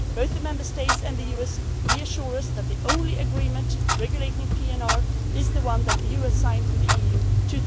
negatively. Both the Member States and the US assure us that the only agreement regulating PNR is the one that the US signed